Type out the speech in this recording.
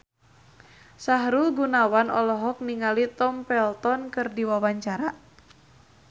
Sahrul Gunawan olohok ningali Tom Felton keur diwawancara